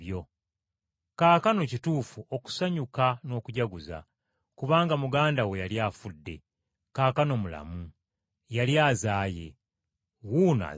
Kaakano kituufu okusanyuka n’okujaguza. Kubanga muganda wo, yali afudde, kaakano mulamu! Yali azaaye, wuuno azaawuse!’ ”